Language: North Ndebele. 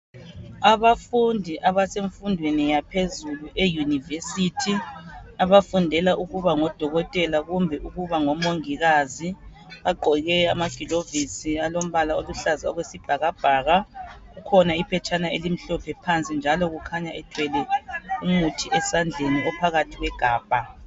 Abafundi abafundela infundo yaphezulu eunivesithi, abafundela ukuba ngodokotela labomongikazi bagqoke amagulovisi alombala okuhlaza okwesibhakabhaka kukhona iphetshana elimhlophe phansi njalo kulomuthi osegabheni